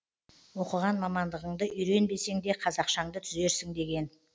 оқыған мамандығыңды үйренбесеңде қазақшаңды түзерсің деген